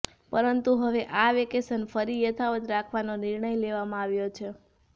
પરંતુ હવે આ વેકેશન ફરી યથાવત રાખવાનો નિર્ણય લેવામાં આવ્યો છે